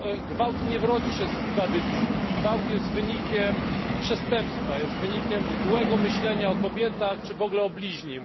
Gwałt nie rodzi się z tradycji, gwałt jest wynikiem przestępstwa, jest wynikiem złego myślenia o kobietach, czy w ogóle o bliźnim.